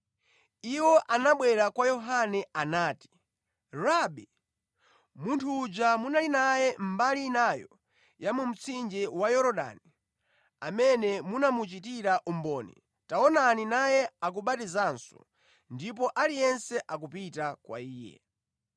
Iwo anabwera kwa Yohane anati, “Rabi, munthu uja munali naye mbali inayo ya mu mtsinje wa Yorodani, amene munamuchitira umboni, taonani naye akubatizanso, ndipo aliyense akupita kwa Iye.”